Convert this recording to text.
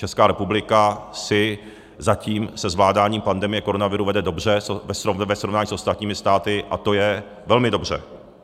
Česká republika si zatím se zvládáním pandemie koronaviru vede dobře ve srovnání s ostatními státy, a to je velmi dobře.